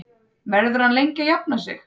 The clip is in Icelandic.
Verður hann lengi að jafna sig?